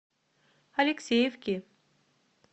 алексеевки